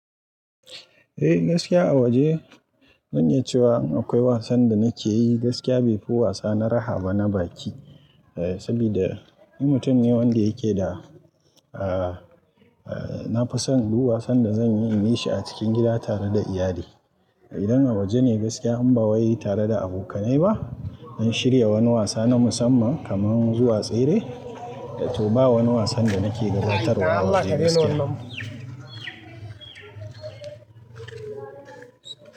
Eh gaskiya a waje, zan iya cewa akwai wasan da nake yi, gaskiya bai fi wasa na raha ba na baki. Eh, saboda ni mutum ne wanda yake da, eh, eh nafi son duk wasan da zanyi in yi shi a cikin gida tare da iyali. Idan a waje ne gaskiya, in ba wai tare da abokanai ba. An shirya wani wasa na musamman kamar zuwa tsere, da to ba wani wasan da nake gadatarwa a waje gaskiya.